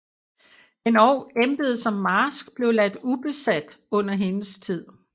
Endog embedet som marsk blev ladt ubesat under hendes tid